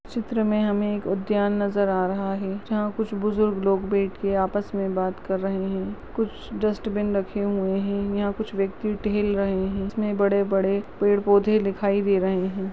चित्र मे हमे एक उद्यान नजर आ रहा है जहा कुछ बुजुर्ग लोग बैठ के आपस मे बात कर रहे है कुछ डस्ट्बिन रखे हुए है यहा कुछ व्यक्ति टेहल रहे है इसमे बड़े-बड़े पोधे दिखाई दे रहे है।